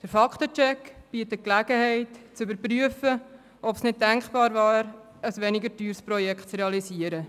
Der Fakten-Check bietet Gelegenheit zu überprüfen, ob es denkbar wäre, ein weniger teures Projekt zu realisieren.